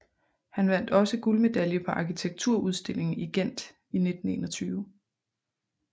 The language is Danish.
Han vandt også guldmedalje på arkitekturudstillingen i Gent 1921